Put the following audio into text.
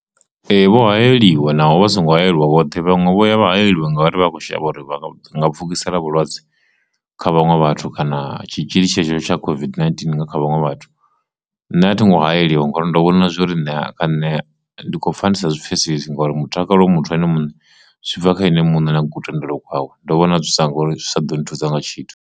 Ee, vho hayeliwe naho vha songo hayeliwa vhoṱhe vhanwe vho ya vha hayeliwe ngauri vha kho shavha uri pfhukisela vhulwadze kha vhaṅwe vhathu kana tshitzhili tshetsho tsha COVID-19 nga kha vhaṅwe vhathu, nṋe a thingo hayeliwe ngauri ndo vhona zwori ṋea kha nṋe ndi kho pfha ndisa zwi pfhesesi ngori mutakalo muthu ane muṋe zwi bva kha ene muṋe na ku tendelo wawe ndo vhona zwi thusa ngori zwi sa ḓo nthusa nga tshithu.